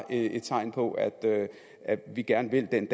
er et tegn på at vi gerne vil den